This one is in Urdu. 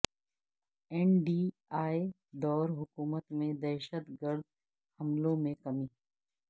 این ڈی اے دور حکومت میں دہشت گرد حملوں میں کمی